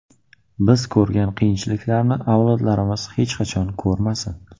Biz ko‘rgan qiyinchiliklarni avlodlarimiz hech qachon ko‘rmasin.